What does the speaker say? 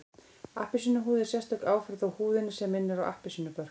Appelsínuhúð er sérstök áferð á húðinni sem minnir á appelsínubörk